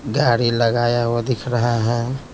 गाड़ी लगाया हुआ दिख रहा है।